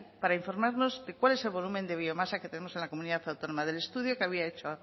para informarnos de cuál es el volumen de biomasa que tenemos en la comunidad autónoma del estudio que había hecho